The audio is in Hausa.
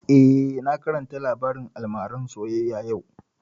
Eh, na karanta labarin almaran soyayya yau